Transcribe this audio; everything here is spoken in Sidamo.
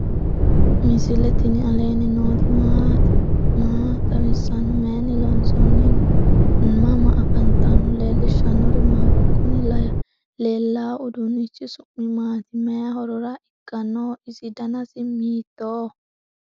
misile tini alenni nooti maati? maa xawissanno? Maayinni loonisoonni? mama affanttanno? leelishanori maati? kuuni lelawo uudunichi su'mi maati? mayi horora iikanoho? isi danasi hiitoho?